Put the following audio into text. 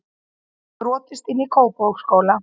Brotist inn í Kópavogsskóla